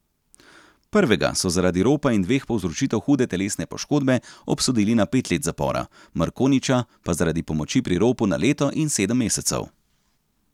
Prvega so zaradi ropa in dveh povzročitev hude telesne poškodbe obsodili na pet let zapora, Mrkonjića pa zaradi pomoči pri ropu na leto in sedem mesecev.